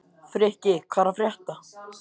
Frikki, hvað er að frétta?